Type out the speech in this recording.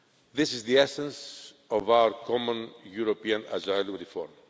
This is the essence of our common European asylum reform.